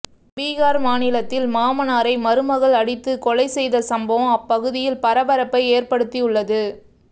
பீகார் மாநிலத்தில் மாமனாரை மருமகள் அடித்து கொலை செய்த சம்பவம் அப்பகுதியில் பரபரப்பை ஏற்படுத்தியுள்ளது